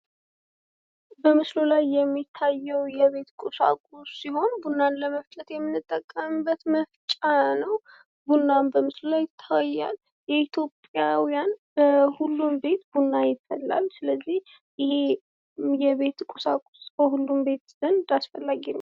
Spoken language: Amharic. በምስሉ ላይ የሚያየው የቤት ቁሳቁስ ሲሆነ ቡናን ለመፍጨት የምንጠቀምበት መፍጫ ነው። ቡናም በምስሉ ላይ ይታያል። የኢትዮጵያውያን ሁሉም ቤት ቡና ይፈላል። ስለዚህ ይሄ የቤት ቁሳቁስ በሁሉም ዘንድ አስፈላጊ ነው።